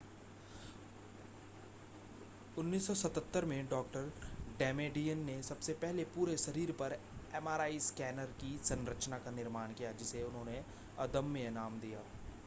1977 में डॉ डेमेडियन ने सबसे पहले पूरे शरीर पर एमआरआई स्कैनर की संरचना का निर्माण किया जिसे उन्होंने अदम्य नाम दिया